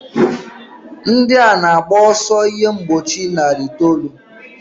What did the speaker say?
Ndị a na-agba ọsọ ihe mgbochi narị itoolu.